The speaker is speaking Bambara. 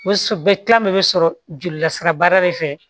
Bɛ kilan de bɛ sɔrɔ joli lasira baara de fɛ